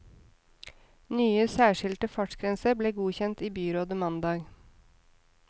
Nye, særskilte fartsgrenser ble godkjent i byrådet mandag.